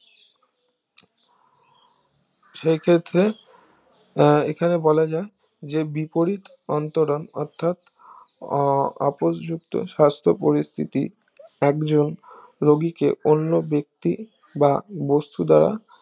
সেই ক্ষেত্রে আহ এখানে বলাজাক যে বিপরিদ অন্তরন অর্থাৎ আহ আপোষযুক্ত সাস্থ পরিস্থিতি একজন রুগীকে অন্য ব্যাক্তি বা বন্তু দ্বারা